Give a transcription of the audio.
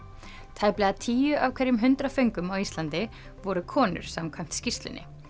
tæplega tíu af hverjum hundrað föngum á Íslandi voru konur samkvæmt skýrslunni